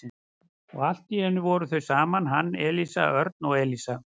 Og allt í einu voru þau saman, hann og Elísa, Örn og Elísa.